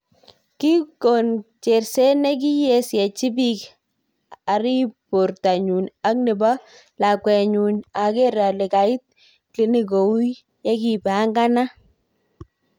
"Kikono cherset nesikisyechin pikk arip. portonyu ak nepo. lakwet nenyuu ager ale kait klinik kou yekipanganat.